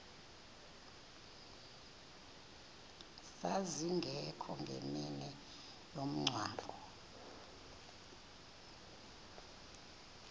zazingekho ngemini yomngcwabo